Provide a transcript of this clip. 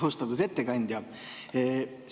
Austatud ettekandja!